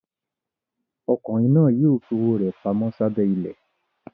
Ọkùnrin náà yóò fi owó rẹ̀ pamọ́ sábẹ́ ilẹ̀.